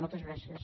moltes gràcies